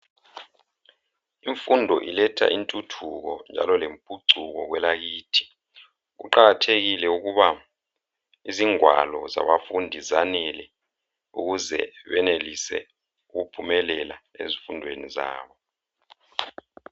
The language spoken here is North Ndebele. Imfundo iletha inthuthuko njalo lemphucuko kwelakithi. Kuqakathekile ukuba izigwalo zabafundi zanele ukuze benelise ukuphumelela ezimfundweni zabo.